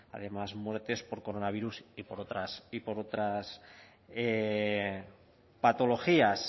además muertes por coronavirus y por otras patologías